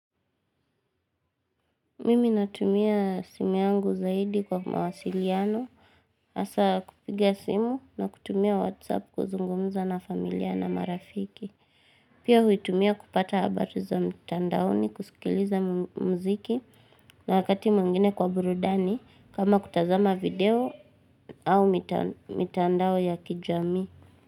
Mimi natumia simu yangu zaidi kwa mawasiliano. Hasaa kupiga simu na kutumia whatsapp kuzungumuza na familia na marafiki. Pia huitumia kupata habari za mtandaoni, kusikiliza muziki na wakati mwingine kwa burudani kama kutazama video au mitandao ya kijamii.